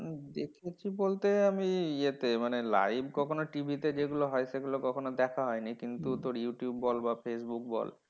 উম দেখেছি বলতে আমি ইয়েতে মানে live কখনও TV তে যেগুলো হয় সেগুলো কখনো দেখা হয়নি। কিন্তু তোর ইউটিউব বল বা ফেসবুক বল